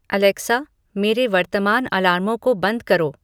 Alexa मेरे वर्तमान अलार्मों को बंद करो